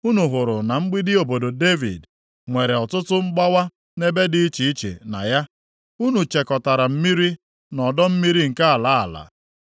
Unu hụrụ na mgbidi obodo Devid nwere ọtụtụ mgbawa nʼebe dị iche iche na ya. Unu chekọtara mmiri nʼọdọ mmiri nke ala ala.